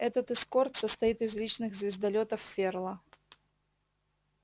этот эскорт состоит из личных звездолётов ферла